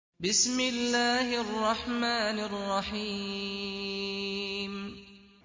بِسْمِ اللَّهِ الرَّحْمَٰنِ الرَّحِيمِ